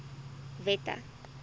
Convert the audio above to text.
wette